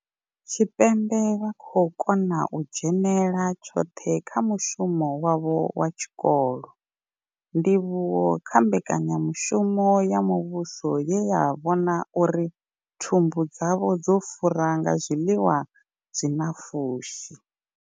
Tshipembe vha khou kona u dzhenela tshoṱhe kha mushumo wavho wa tshikolo, ndivhuwo kha mbekanya mushumo ya muvhuso ye ya vhona uri thumbu dzavho dzo fura nga zwiḽiwa zwi na pfushi.